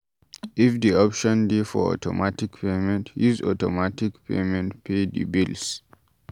If di option dey for automatic payment, use automatic payment pay di bills